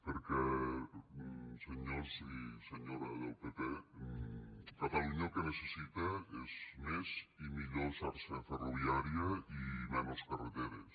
perquè senyors i senyora del pp catalunya el que necessita és més i millor xarxa ferroviària i menys carreteres